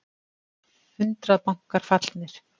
Hundrað bankar fallnir